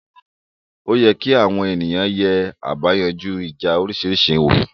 Oye kí àwọn ènìyàn yè àbáyanjú ìjà òrisìrísí wò